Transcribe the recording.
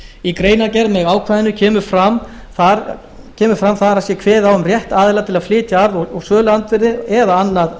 í greinargerð með ákvæðinu kemur fram að þar sé kveðið á um rétt aðila til að flytja arð og söluandvirði eða annað